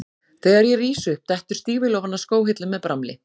Þegar ég rís upp dettur stígvél ofan af skóhillu með bramli.